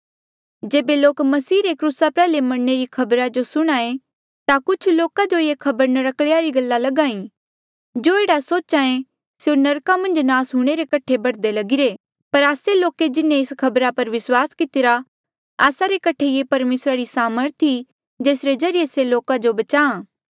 जेबे लोक मसीह रे क्रूसा प्रयाल्हे मरणे री खबरा जो सुणे ता कुछ लोका जो ये खबर नर्क्कल्या री गल लगा ई जो एह्ड़ा सोचे स्यों नरका मन्झ नास हूंणे रे कठे बढ़दे लगिरे पर आस्से लोके जिन्हें एस खबरा पर विस्वास कितिरा आस्सा रे कठे ये परमेसरा री से सामर्थ ई जेसरे ज्रीए से लोका जो बचाहां